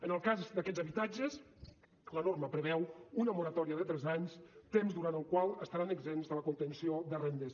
en el cas d’aquests habitatges la norma preveu una moratòria de tres anys temps durant el qual estaran exempts de la contenció de rendes